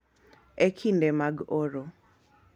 E kinde mag oro,